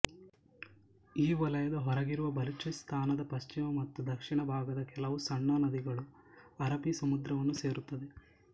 ಈ ವಲಯದ ಹೊರಗಿರುವ ಬಲೂಚಿಸ್ತಾನದ ಪಶ್ಚಿಮ ಮತ್ತು ದಕ್ಷಿಣ ಭಾಗದ ಕೆಲವು ಸಣ್ಣ ನದಿಗಳು ಅರಬ್ಬಿ ಸಮುದ್ರವನ್ನು ಸೇರುತ್ತವೆ